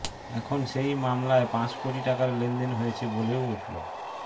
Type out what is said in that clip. এখন সেই মামলায় পাঁচ কোটি টাকার লেনদেন হয়েছে বলেও উঠল